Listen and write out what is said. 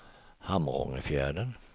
Hamrångefjärden